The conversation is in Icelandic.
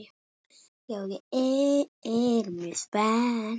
Já, ég er mjög spennt.